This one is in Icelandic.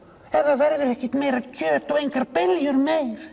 ef það verður ekkert meira kjöt og engar beljur meir